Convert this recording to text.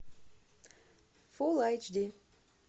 фул айч ди